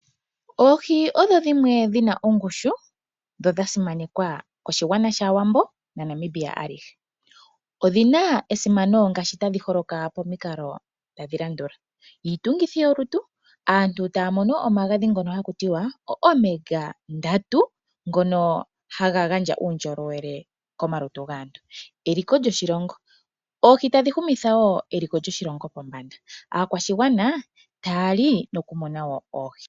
Oohi odho dhimwe dhi na ongushu nodha simanekwa koshigwana shAawambo naNamibia alihe. Odhi na esimano ngaashi tadhi holoka pamikalo tadhi landula: iitungithi yolutu , aantu taya mono omagadhi ngoka hagi ithanwa Omega-3, ngono haga gandja uundjolowele komalutu gaantu. Eliko lyoshilongo , oohi tadhi humitha wo eliko lyoshilongo pombanda naakwashigana taya li nokumona oohi.